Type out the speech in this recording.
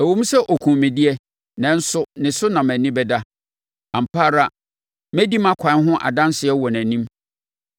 Ɛwom sɛ ɔkumm me deɛ, nanso ne so na mʼani bɛda; ampa ara mɛdi mʼakwan ho adanseɛ wɔ nʼanim.